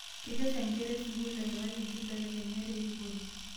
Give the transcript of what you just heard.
Kekesha nkera e sukuul eimaki nkibelekenyat erikore